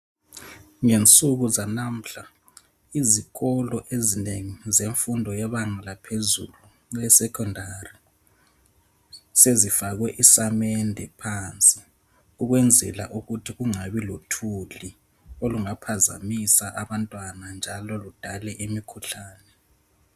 Ngensuku zanamhla izikolo ezinengi zemfundo yebanga laphezulu (esekhendari), sezifakwe isamende phansi ukwenzela ukuthi kungabi lothuli olungaphazamisa abantwana njalo ludale imikhuhlane.